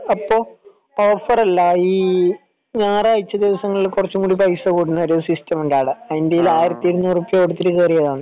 അപ്പൊ ഓഫറല്ല ഈ ഞായറാഴ്ച ദിവസങ്ങളിൽ കുറച്ചുകൂടി പൈസ കൂടുന്ന സിസ്റ്റം ഉണ്ട് ആട അതിന്റെ ആയിരത്തി അഞ്ഞൂറ് ഉറുപ്പിക കൊടുത്തിട്ട് കേറിയതാണ്